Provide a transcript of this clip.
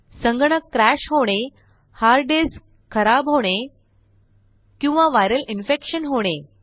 संगणक crashहोणे hard disk खराब होणे किंवा विरल इन्फेक्शन होणे